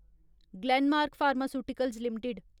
Glenmark Pharmaceuticals limited